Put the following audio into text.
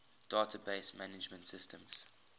database management systems